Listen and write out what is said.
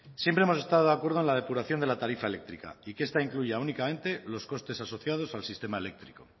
siempre hemos estado de acuerdo en la depuración de la tarifa eléctrica y que esta incluya únicamente los costes asociados al sistema eléctrico